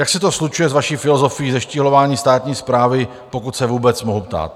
Jak se to slučuje s vaší filozofií zeštíhlování státní správy, pokud se vůbec mohu ptát?